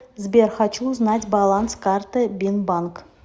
сбер хочу узнать баланс карты бинбанк